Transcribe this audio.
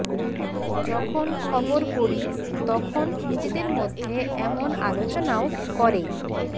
যখন খবর পড়ি তখন নিজেদের মধ্যে এমন আলোচনাও করে